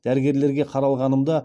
дәрігерлерге қаралғанымда олар